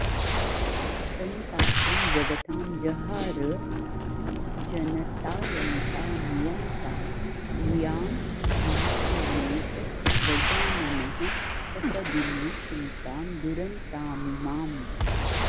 सन्तापं जगतां जहार जनतायन्ता नियन्ता धियां भिन्तामेष गजाननः सपदि मे चिन्तां दुरन्तामिमाम्